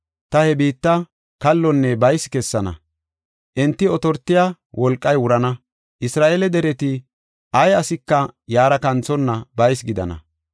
Ta he biitta kallonne baysi kessana; enti otortiya wolqay wurana; Isra7eele dereti ay asika yaara kanthonna baysi gidana.